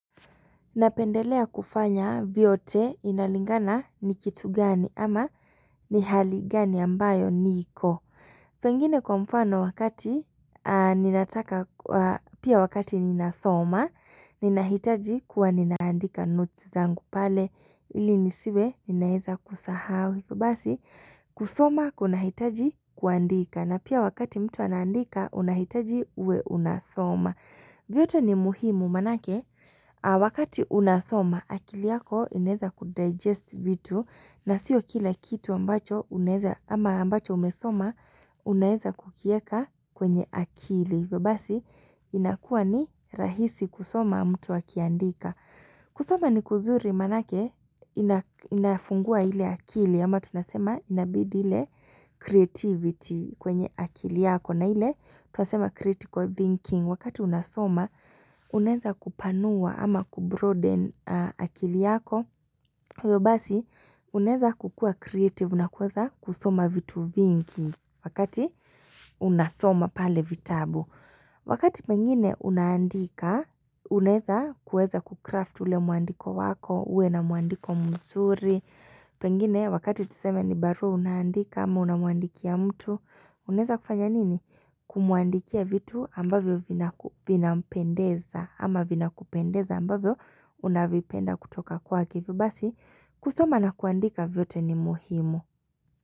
Napendelea kufanya vyote inalingana ni kitu gani ama ni hali gani ambayo niko. Pengine kwa mfano wakati ninataka pia wakati ninasoma, ninahitaji kuwa ninaandika notes zangu pale ili nisiwe ninaweza kusahau basi kusoma kunahitaji kuandika na pia wakati mtu anaandika unahitaji uwe unasoma. Vyote ni muhimu maanake, wakati unasoma, akili yako inaweza kudigest vitu na sio kila kitu ambacho unaweza ama ambacho umesoma, unaeza kukieka kwenye akili. Hivyo basi, inakuwa ni rahisi kusoma mtu akiaandika. Kusoma ni kuzuri maanake, inafungua ile akili, ama tunasema inabidi ile creativity kwenye akili yako. Na ile tunasema critical thinking wakati unasoma unezakupanua ama kubroaden akili yako hivyo basi unaweza kukuwa creative na kuweza kusoma vitu vingi wakati unasoma pale vitabu Wakati pengine unaandika unaeza kuweza kucraft ule muandiko wako uwe na muandiko mzuri Pengine wakati tuseme ni barua unaandika ama unamuandikia mtu Unaezakufanya nini? Kumuandikia vitu ambavyo vinampendeza ama vinakupendeza ambavyo unavipenda kutoka kwake hivyo basi kusoma na kuandika vyote ni muhimu.